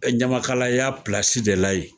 Ɛ ɲamakalaya plasi de la yen.